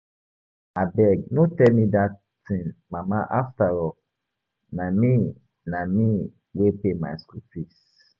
Abeg no tell me dat thing mama afterall na me na me wey pay my school fees